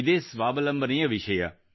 ಇದೇ ಸ್ವಾವಲಂಬನೆಯ ವಿಷಯ